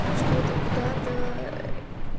что-то куда-то